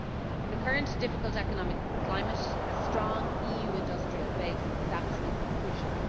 In the current difficult economic climate, a strong EU industrial base is absolutely crucial.